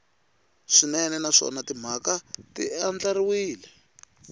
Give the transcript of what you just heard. swinene naswona timhaka ti andlariwile